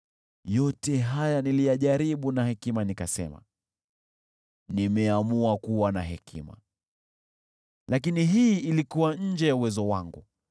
Yote haya niliyajaribu kwa hekima, nikasema, “Nimeamua kuwa na hekima”: lakini hii ilikuwa nje ya uwezo wangu.